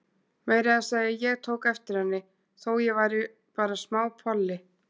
Meira að segja ég tók eftir henni, þó ég væri bara smápolli.